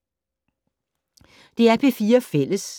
DR P4 Fælles